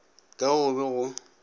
ka ge go be go